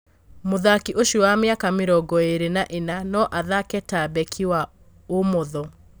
Mũthaki ũcio wa mĩaka mĩrongoĩrĩ na ĩna no athake ta mbeki wa ũmotho.